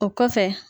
O kɔfɛ